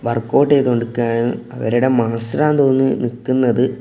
Workout ചെയ്തുകൊണ്ട് നിൽക്കാണ് അവരുടെ മാസ്റ്റർ ആണെന്ന് തോന്നുന്നു നിക്കുന്നത്.